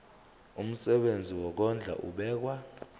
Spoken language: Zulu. umsebenzi wokondla ubekwa